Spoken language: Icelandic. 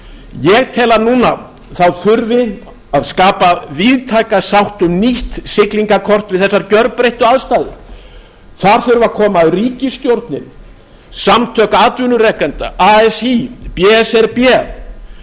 ég tel að núna þurfi að skapa víðtæka sátt um nýtt siglingarkort við þessar gjörbreyttu aðstæður þar þurfa að koma að ríkisstjórnin s samtök atvinnurekenda así b s r b og